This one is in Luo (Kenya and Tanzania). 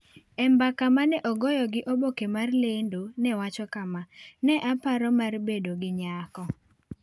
E mbaka ma ne ogoyo gi oboke mar lendo nowacho kama: "ne aparo mar bedo gi nyako.